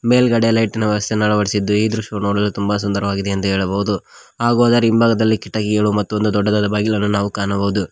ಮೇಲ್ಗಡೆ ಲೈಟಿನ ವ್ಯವಸ್ಥೆಯನ್ನೂ ಅಳವಡಿಸಿದ್ದು ಈ ದೃಶ್ಯವೂ ನೋಡಲೂ ತುಂಬ ಸುಂದರವಾಗಿದೆ ಎಂದು ಹೇಳಬಹುದು ಹಾಗೂ ಅದರ ಹಿಂಬಾಗದಲ್ಲಿ ಕಿಟಕಿಗಳು ಮತ್ತು ಒಂದು ದೊಡ್ಡದಾದ ಬಾಗಿಲನ್ನು ನಾವು ಕಾಣಬಹುದು.